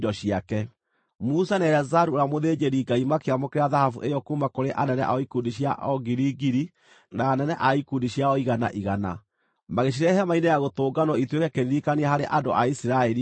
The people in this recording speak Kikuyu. Musa na Eleazaru ũrĩa mũthĩnjĩri-Ngai makĩamũkĩra thahabu ĩyo kuuma kũrĩ anene a ikundi cia o ngiri, ngiri na anene a ikundi cia o igana, igana magĩcirehe Hema-inĩ ya Gũtũnganwo ituĩke kĩririkania harĩ andũ a Isiraeli mbere ya Jehova.